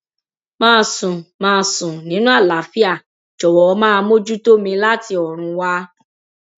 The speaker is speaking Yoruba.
màá sùn màá sùn nínú àlàáfíà jọwọ máa mójútó mi láti ọrùn wa